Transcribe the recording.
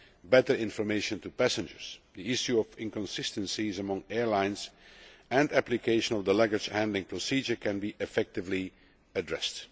better information to passengers, the issue of inconsistencies among airlines and application of the luggage handling procedure can be effectively addressed.